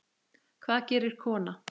Hvað gerir kona?